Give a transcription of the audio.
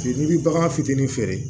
N'i bi bagan fitinin feere